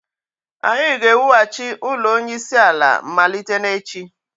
anyị ga-ewughachi ụlọ onyeisiala malite n'echi